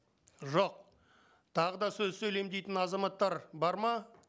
жоқ тағы да сөз сөйлеймін дейтін азаматтар бар ма